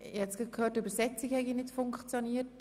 Ich höre, die Simultandolmetschung habe nicht funktioniert.